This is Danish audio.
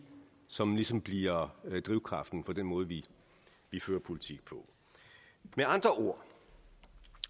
som ligesom bliver drivkraften for den måde vi vi fører politik på med andre ord